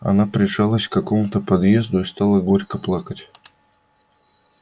она прижалась к какому-то подъезду и стала горько плакать